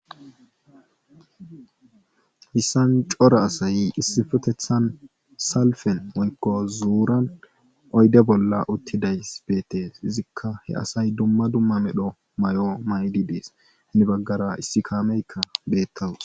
Hayssan cora asay issipethetan salfen woykko zuuriyan oyde bolla uttidayssi betees. Izzikka he asay dumma dumma medho mayo mayidi dees. hini bagara issi kaamekka beetawus.